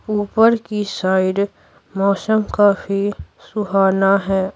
ऊपर की साइड मौसम काफी सुहाना है।